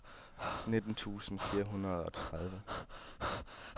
nitten tusind fire hundrede og tredive